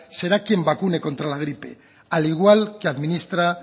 será quien vacune contra la gripe al igual que administra